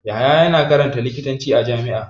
Yahaya yana karanta likitanci a jami'a.